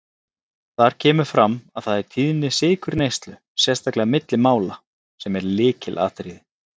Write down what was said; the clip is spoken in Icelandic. Þar kemur fram að það er tíðni sykurneyslu, sérstaklega milli mála, sem er lykilatriði.